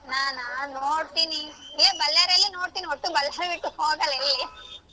ನಾನಾ ನೋಡ್ತೀನಿ ಇಲ್ಲೇ Bellary ಅಲ್ಲೇ ನೋಡ್ತೀನಿ ಒಟ್ಟು Bellary ಬಿಟ್ಟು ಹೋಗಲ್ಲ ಎಲ್ಲಿ.